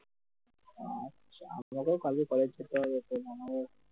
আচ্ছা আমাদেরও কালকে কলেজ যেতে হবে তার জন্য তো